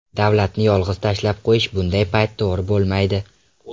Davlatni yolg‘iz tashlab qo‘yish bunday payt to‘g‘ri bo‘lmaydi.